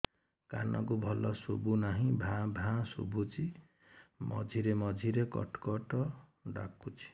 କାନକୁ ଭଲ ଶୁଭୁ ନାହିଁ ଭାଆ ଭାଆ ଶୁଭୁଚି ମଝିରେ ମଝିରେ କଟ କଟ ଡାକୁଚି